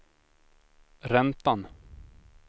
räntan